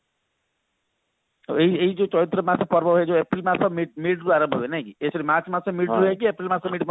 ଏଇ ଏଇ ଯୋଉ ଚୈତ୍ର ମାସ ପର୍ବ ଯୋଉ April ମାସ mid mid ରୁ ଆରମ୍ଭ ହୁଏ ନାଇଁ ଏ sorry march ମାସ mid ରୁ ହେଇକି April ମାସ mid ପର୍ଯ୍ୟନ୍ତ